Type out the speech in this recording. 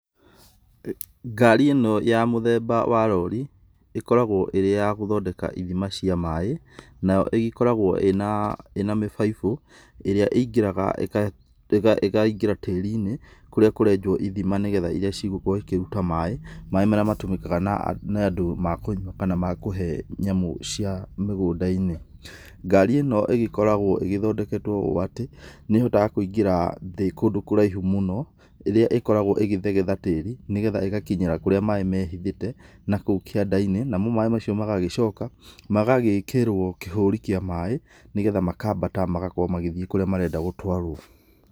Ngari ĩno ya mũthemba wa rori, ĩkoragwo ĩrĩ ya gũthondeka ithima cia maĩ, nayo ĩgĩkoragwo ĩna mĩbaibũ, ĩrĩa ĩingĩraga, ikaingĩra tĩri-inĩ, kũrĩa kũrenjwo ithima nĩgetha iria cigũkorwo ikĩruta maĩ, maĩ marĩa matũmĩkaga nĩ andũ ma kũnyua kana ma kũhe nyamũ cia mĩgũnda-inĩ. Ngari ĩno ĩgĩkoragwo ĩgĩthondeketwo ũũ atĩ, nĩĩhotaga kũingĩra thĩ kũndũ kũraihu mũno, ĩrĩa ĩkoragwo ĩgĩthegetha tĩri, nĩgetha ĩgakinyĩra kũrĩa maĩ mehithĩte, nakou kĩanda-inĩ, namo maĩ macio magagĩcoka, magagĩkĩrwo kĩhũri kĩa maĩ nĩgetha makambata magakorwo magĩthiĩ kũrĩa marenda gũtwarwo.